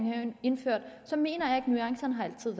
indførte mener jeg ikke at nuancerne altid